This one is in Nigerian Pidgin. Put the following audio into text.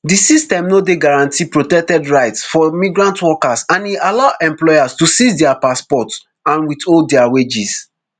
di system no dey guarantee protected rights for migrant workers and e allow employers to seize dia passports and withhold dia wages